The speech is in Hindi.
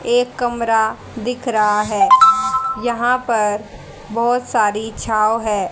एक कमरा दिख रहा है यहां पर बहोत सारी छांव है।